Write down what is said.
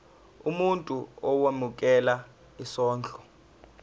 umuntu owemukela isondlo